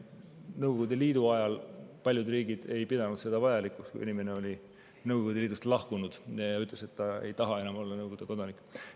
Nõukogude Liidu ajal paljud riigid ei pidanud seda vajalikuks, kui inimene oli Nõukogude Liidust lahkunud ja ütles, et ta ei taha enam olla Nõukogude kodanik.